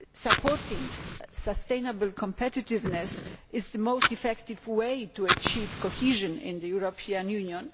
Supporting sustainable competitiveness is the most effective way to achieve cohesion in the European Union.